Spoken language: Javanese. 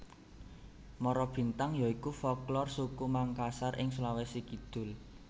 Marabintang ya iku folklor suku Mangkasar ing Sulawesi Kidul